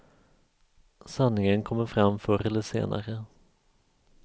Sanningen kommer fram förr eller senare.